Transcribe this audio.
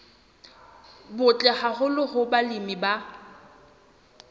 butle haholo hoo balemi ba